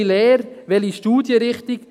Welche Lehre, welche Studienrichtung?